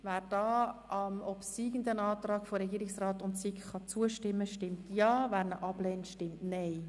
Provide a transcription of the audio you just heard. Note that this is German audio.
Wer dem obsiegenden Antrag Regierungsrat und SiK zustimmen kann, stimmt Ja, wer diesen ablehnt, stimmt Nein.